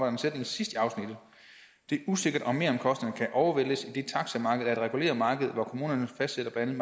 en sætning sidst i afsnittet det er usikkert om meromkostningerne kan overvæltes idet taximarkedet er et reguleret marked hvor kommunerne fastsætter blandt